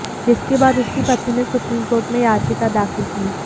जिसके बाद उसकी पत्नी ने सुप्रीम कोर्ट में याचिका दाखिल की